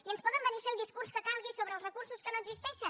i ens poden venir a fer el discurs que calgui sobre els recursos que no existeixen